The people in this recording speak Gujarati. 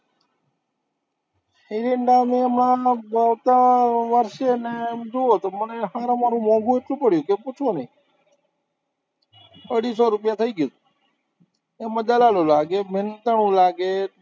એરંડાને હમણાં આવતા વર્ષે ને એમ જુઓ તો મને હારમ હારું મોંઘુ એટલું પડ્યું કે પૂછો નઈ અઢીસો રૂપિયા થઇ ગયું, મહેનતાણું લાગે,